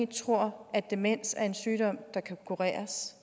tror at demens er en sygdom der kan kureres